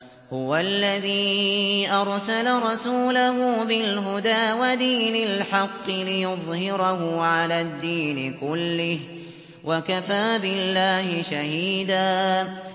هُوَ الَّذِي أَرْسَلَ رَسُولَهُ بِالْهُدَىٰ وَدِينِ الْحَقِّ لِيُظْهِرَهُ عَلَى الدِّينِ كُلِّهِ ۚ وَكَفَىٰ بِاللَّهِ شَهِيدًا